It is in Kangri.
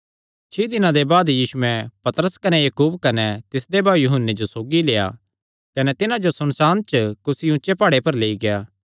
छिं दिनां दे बाद यीशुयैं पतरस कने याकूब कने तिसदे भाऊ यूहन्ने जो सौगी लेआ कने तिन्हां जो सुनसाण च कुसी ऊचे प्हाड़े पर लेई गेआ